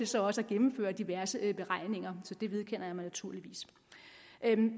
til også at gennemføre diverse beregninger så det vedkender jeg mig naturligvis